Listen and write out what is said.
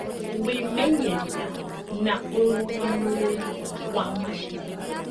Wĩmenyeria na ũrũgamĩrĩri wa maciaro